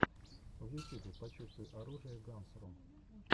в ютюбе почувствуй оружие гансрум